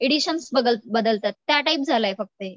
Editions बदलतात त्या type झालंय फक्त हे.